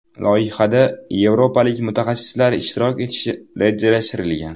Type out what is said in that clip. Loyihada yevropalik mutaxassislar ishtirok etishi rejalashtirilgan.